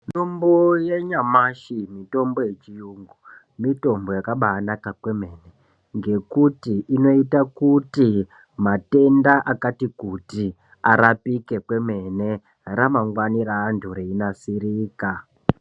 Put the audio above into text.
Mutombo yanyamashi mutombo yechiyungu mutombo yakabaanaka kwemene, ngekuti inoita kuti matenda akati kuti arapike kwemene, ramangwani reantu reinasirika.